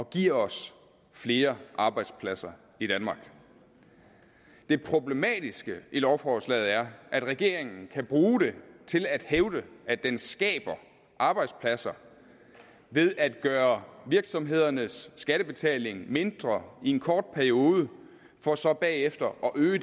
giver os flere arbejdspladser i danmark det problematiske i lovforslaget er at regeringen kan bruge det til at hævde at den skaber arbejdspladser ved at gøre virksomhedernes skattebetaling mindre i en kort periode for så bagefter at øge